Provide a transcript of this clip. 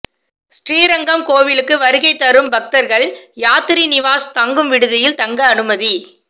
ஸ்ரீரங்கம் கோவிலுக்கு வருகை தரும் பக்தர்கள் யாத்திரி நிவாஸ் தங்கும் விடுதியில் தங்க அனுமதி